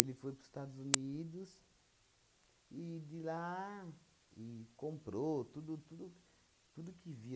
Ele foi para os Estados Unidos e de lá e comprou tudo tudo tudo que via.